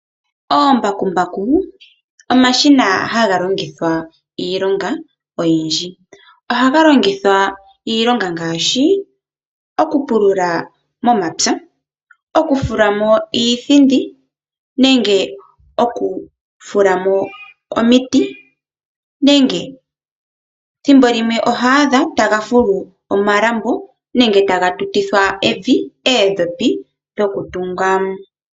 Oombakumbaku omashina hagalongithwa iilonga oyindji. Ohagalongithwa iilonga ngaashi, okupulula momapya, okufulamo iithindi, nenge okufulamo omiti nenge thimbo limwe oho adha tagafulu omalambo nenge tagatutithwa evi, oodhopi dhokutunga.